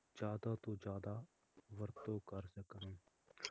ਜ਼ਿਆਦਾ ਤੋਂ ਜ਼ਿਆਦਾ ਵਰਤੋਂ ਕਰਨ